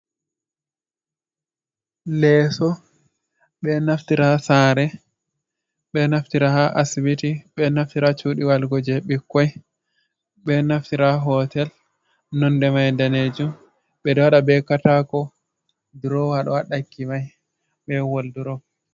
Leeso ɓe naftira ha sare, ɓe naftira ha asibiti, ɓe naftira ha cuɗi walugo je ɓikkoi, ɓe naftira ha hotel nonde mai danejum. Ɓeɗo waɗa be katako, durowa ɗo ha ɗakki mai be waldrop.